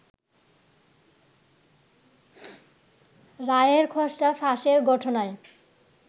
রায়ের খসড়া ফাঁসের ঘটনায়